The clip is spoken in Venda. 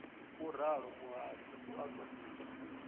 ralo muhasho u a konḓisa